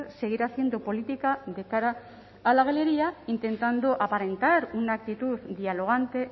seguir haciendo política de cara a la galería intentando aparentar una actitud dialogante